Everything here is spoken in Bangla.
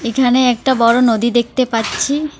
এখানে একটা বড়ো নদী দেখতে পাচ্ছি।